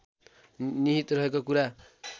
निहित रहेको कुरा